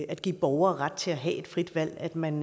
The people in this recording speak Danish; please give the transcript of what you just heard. at give borgere ret til at have et frit valg at man